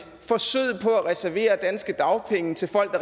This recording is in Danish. forsøget på at reservere danske dagpenge til folk